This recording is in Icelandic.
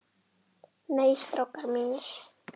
Nei, strákar mínir.